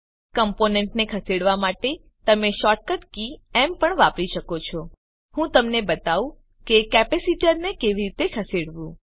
કમ્પોનેન્ટને ખસેડવા માટે તમે શોર્ટકટ કી એમ પણ વાપરી શકો છો ઉદાહરણ તરીકે ચાલો હું તમને બતાવું કે કેપેસીટરને કેવી રીતે ખસેડવું